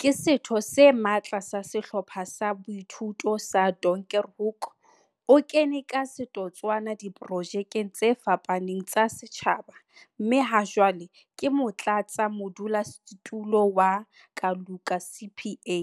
Ke setho se matla sa Sehlopha sa Boithuto sa Donkerhoek. O kene ka setotswana diprojekeng tse fapaneng tsa setjhaba, mme hajwale ke motlatsamodulasetulo wa Kaluka CPA.